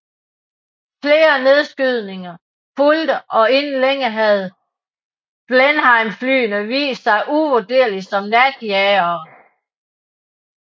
Flere nedskydninger fulgte og inden længe havde Blenheimflyene vist sig uvurderlige som natjagere